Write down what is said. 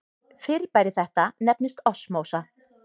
Fyrirbæri þetta nefnist osmósa.